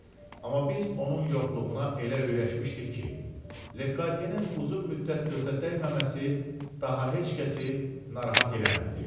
Amma biz onun yoxluğuna elə öyrəşmişdik ki, Lekodyenin uzun müddət gözə dəyməməsi daha heç kəsi narahat eləmirdi.